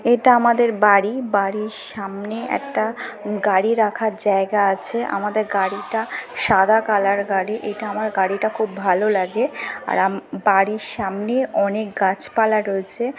এটা আমাদের বাড়ি। বাড়ির সামনে একটা গাড়ি রাখার জায়গা আছে। আমাদের গাড়িটা সাদা কালার গাড়ি। এটা আমার গাড়িটা খুব ভালো লাগে আর আম বাড়ির সামনে অনেক গাছপালা রয়েছে ।